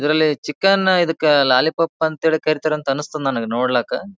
ಇದರಲ್ಲಿ ಚಿಕನ್ ಇದಕ್ಕ ಲಾಲಿಪಾಪ್ ಅಂತ ಹೇಳಿ ಕರೀತಾರ ಅಂತ ಅನಸ್ತದ ನನಗ ನೋಡ್ಲಾಕ.